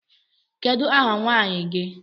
Kedu ahà nwaanyị gi?